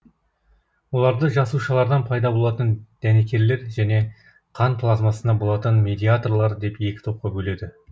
оларды жасушалардан пайда болатын дәнекерлер және қан плазмасында болатын медиаторлар деп екі топқа бөледі